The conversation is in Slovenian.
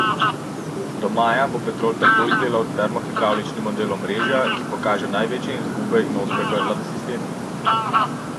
Do maja bo Petrol tako izdelal termohidravlični model omrežja, ki pokaže največje izgube in ozka grla v sistemu.